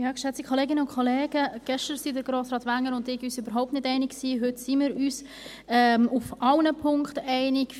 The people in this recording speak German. Gestern waren sich Grossrat Wenger und ich überhaupt nicht einig, heute sind wir uns in allen Punkten einig.